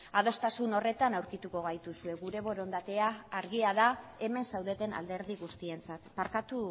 adostasun horretan aurkituko gaituzue gure borondatea argia da hemen zaudeten alderdi guztientzat barkatu